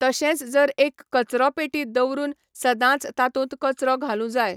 तशेंच जर एक कचरो पेटी दवरून सदांच तातूंत कचरो घालूं जाय.